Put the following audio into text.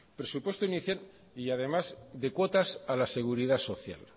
presupuesto inicial y además de cuotas a la seguridad social